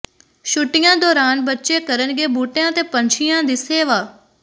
ਛੁੱਟੀਆਂ ਦੌਰਾਨ ਬੱਚੇ ਕਰਨਗੇ ਬੂਟਿਆਂ ਤੇ ਪੰਛੀਆਂ ਦੀ ਸੇਵਾ